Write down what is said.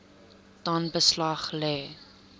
dan beslag lê